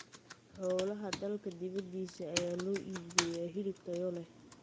Xoolaha dalka dibadiisa ayaa loo iibgeeyaa hilib tayo leh.